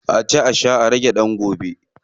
A ci a sha a rage dan gobe.